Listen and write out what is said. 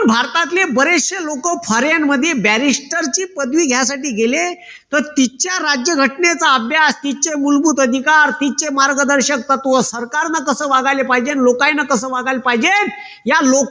भारतातले बरेचशे लोक foreign मध्ये barrister ची पदवी घ्यायसाठी गेले तर तिच्या राज्यघटनेचा अभ्यास तिचे मूलभूत अधिकार तिचे मार्गदर्शक तत्व सरकारन कस वागायला पाहिजे न लोकनले कस वागायला पाहिजे या लोक